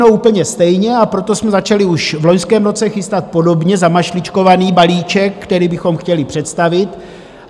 No, úplně stejně, a proto jsme začali už v loňském roce chystat podobně zamašličkovaný balíček, který bychom chtěli představit.